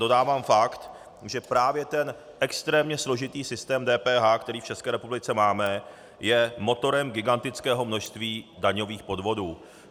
Dodávám fakt, že právě ten extrémně složitý systém DPH, který v České republice máme, je motorem gigantického množství daňových podvodů.